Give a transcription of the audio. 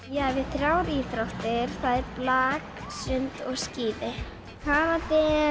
ég æfi þrjár íþróttir það er blak sund og skíði karate